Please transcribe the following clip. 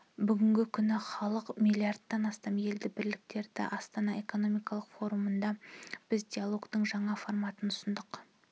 бүгінгі күні халқы млрд-тан асатын елді біріктіреді астана экономикалық форумында біз диалогтың жаңа форматын ұсындық